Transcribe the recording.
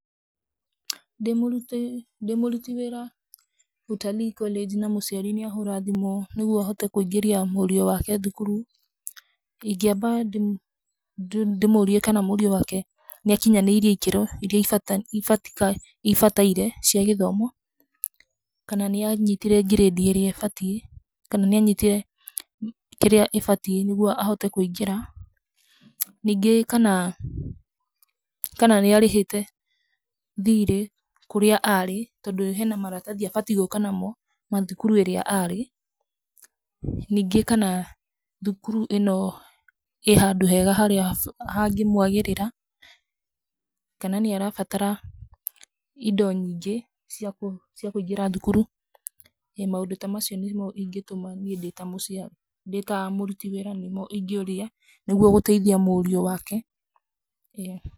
Ndĩ mũruti wĩra Utalii College na mũciari nĩ ahũra thimũ nĩguo hote kũingĩria mũriũ wake thukuru, ingĩamba ndĩmũrie kana mũriũ wake nĩ akinyanĩirie ĩkĩro iria ibatairie cia gĩthomo, kana nĩ anyitire grade ĩrĩa ibatiĩ, kana nĩ anyitire kĩrĩa ĩbatiĩ nĩguo ahote kũingĩra. Ningĩ kana nĩ arĩhĩte thirĩ kũrĩa aarĩ tondũ hena maratathi abatiĩ gũka namo ma thukuru ĩrĩa aarĩ. Ningĩ, kana thukuru ĩno ĩ handũ hega harĩa hangĩ mwagĩrĩra kana nĩ arabatara indo nyingĩ ciakũingĩra thukuru. ĩ, maundũ ta macio nĩ mo ingĩtũma ndĩ ta mũciari, ndĩ ta mũruti wĩra nĩ mo ingĩũria nĩguo gũteithia mũriũ wake. ĩ.